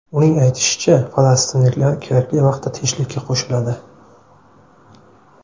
Uning aytishicha, falastinliklar kerakli vaqtda tinchlikka qo‘shiladi.